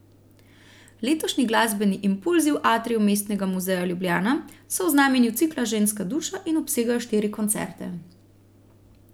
Letošnji Glasbeni impulzi v atriju Mestnega muzeja Ljubljana so v znamenju cikla Ženska duša in obsegajo štiri koncerte.